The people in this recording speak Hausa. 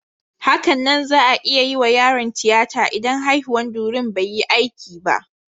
Hakanan za'a iya yiwa yaron tiyata idan haihuwan durin bai yi aiki ba.